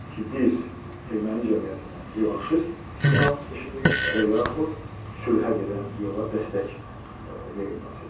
Ki, biz Erməni cəmiyyətinə revanşist siqnal işlədirik və yaxud sülhə gedən yola dəstək verilməsidir.